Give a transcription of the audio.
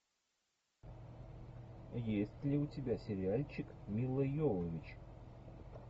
есть ли у тебя сериальчик мила йовович